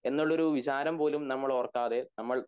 എന്നുള്ള ഒരു വിചാരം പോലും നമ്മൾ ഓർക്കാതെ നമ്മൾ